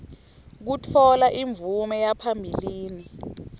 kutfola imvume yaphambilini